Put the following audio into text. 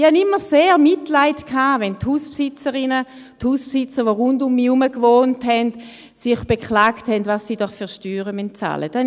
Ich hatte immer sehr Mitleid, wenn die Hausbesitzerinnen und Hausbesitzer, die rund um mich herum wohnten, sich beklagten, was sie doch für Steuern zahlen müssen.